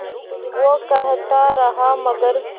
वो कहता रहा मगर